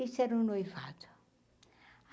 Isso era o noivado.